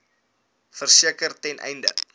verseker ten einde